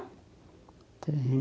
Tenho.